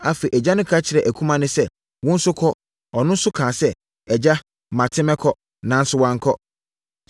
“Afei agya no ka kyerɛɛ akumaa no sɛ, ‘Wo nso kɔ.’ Ɔno nso kaa sɛ, ‘Agya, mate, mɛkɔ.’ Nanso wankɔ.